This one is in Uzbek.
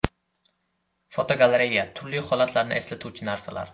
Fotogalereya: Turli holatlarni eslatuvchi narsalar.